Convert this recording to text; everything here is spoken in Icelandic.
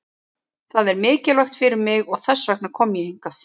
Það er mikilvægt fyrir mig og þess vegna kom ég hingað.